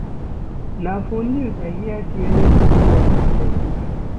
Na for news I hear sey rain go fall for seven days.